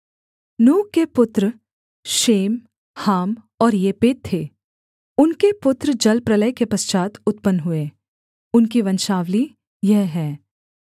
नूह के पुत्र शेम हाम और येपेत थे उनके पुत्र जलप्रलय के पश्चात् उत्पन्न हुए उनकी वंशावली यह है